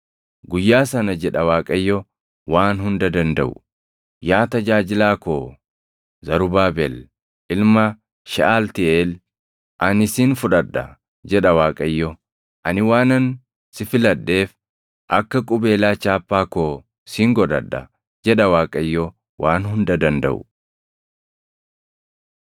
“ ‘Guyyaa sana’ jedha Waaqayyo Waan Hunda Dandaʼu; ‘Yaa tajaajilaa koo Zarubaabel ilma Sheʼaltiiʼeel, ani sin fudhadha’ jedha Waaqayyo; ‘Ani waanan si filadheef akka qubeelaa chaappaa koo sin godhadha’ jedha Waaqayyo Waan Hunda Dandaʼu.”